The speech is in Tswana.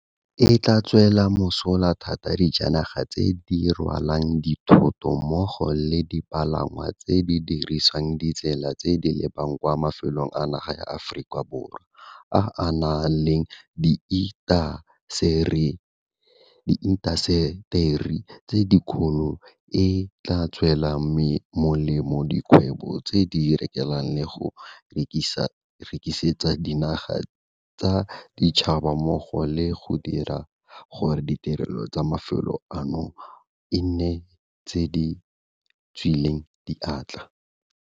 E tla tswela mosola thata dijanaga tse di rwalang dithoto mmogo le dipalangwa tse di dirisang ditsela tse di lebang kwa mafelong a naga ya Aforika Borwa a a nang le diintaseteri tse dikgolo, e tla tswela molemo dikgwebo tse di rekelang le go rekisetsa dinaga tsa boditšhaba mmogo le go dira gore ditirelo tsa mafelo ano e nne tse di tswileng diatla.